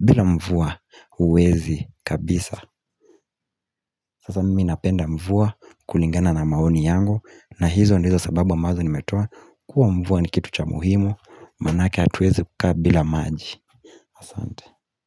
bila mvua uwezi kabisa Sasa mimi napenda mvua kulingana na maoni yangu na hizo ndizo sababu ambazo nimetoa kuwa mvua ni kitu cha muhimu Manake atuwezi kukaa bila maji Asante.